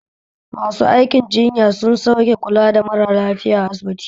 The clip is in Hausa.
Masu aikin jinya su suke kula da mara lafiya asibiti